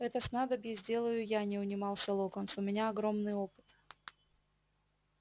это снадобье сделаю я не унимался локонс у меня огромный опыт